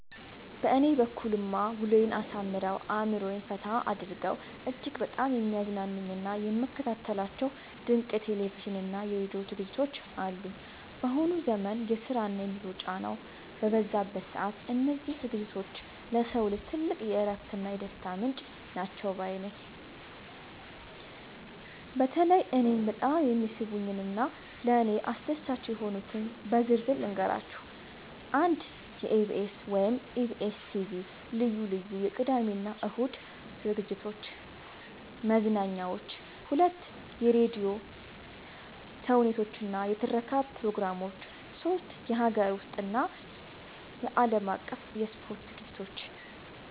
በእኔ በኩልማ ውሎዬን አሳምረው፣ አእምሮዬን ፈታ አድርገው እጅግ በጣም የሚያዝናኑኝና የምከታተላቸው ድንቅ የቴሌቪዥንና የራዲዮ ዝግጅቶች አሉኝ! ባሁኑ ዘመን የስራና የኑሮ ጫናው በበዛበት ሰዓት፣ እነዚህ ዝግጅቶች ለሰው ልጅ ትልቅ የእረፍትና የደስታ ምንጭ ናቸው ባይ ነኝ። በተለይ እኔን በጣም የሚስቡኝንና ለእኔ አስደሳች የሆኑትን በዝርዝር ልንገራችሁ፦ 1. የኢቢኤስ (EBS TV) ልዩ ልዩ የቅዳሜና እሁድ መዝናኛዎች 2. የራዲዮ ተውኔቶችና የትረካ ፕሮግራሞች 3. የሀገር ውስጥና የዓለም አቀፍ የስፖርት ዝግጅቶች